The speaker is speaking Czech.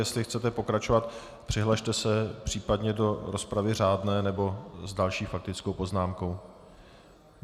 Jestli chcete pokračovat, přihlaste se případně do rozpravy řádné nebo s další faktickou poznámkou.